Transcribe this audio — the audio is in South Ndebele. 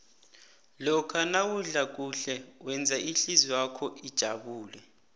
lokha nawudla kuhle wenza ihlizwakho ijabule